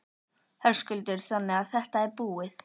Höskuldur: Þannig að þetta er búið?